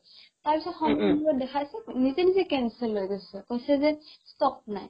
তাৰ পিছত সময়মোৰত দেখাইছে নিজে নিজে cancel হৈ গৈছে কৈছে যে stock নাই